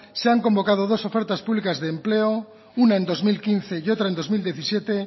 se han convocado dos ofertas públicas de empleo una en dos mil quince y otra en dos mil diecisiete